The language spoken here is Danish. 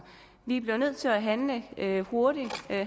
vi bliver nødt til at handle handle hurtigt